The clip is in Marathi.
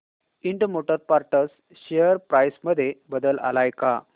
Ind motor parts share price मध्ये बदल आलाय का